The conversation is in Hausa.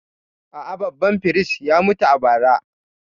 A’a, babban firist ya mutu a bara.